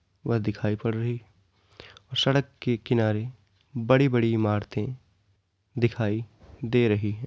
वह दिखाई पड़ रही है और सड़क के किनारे बड़ी-बड़ी इमारते दिखाई दे रही हैं।